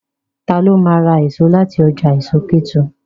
Ta ló ma ra èso láti ọjà èso Kétu?